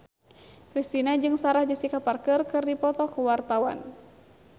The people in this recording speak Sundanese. Kristina jeung Sarah Jessica Parker keur dipoto ku wartawan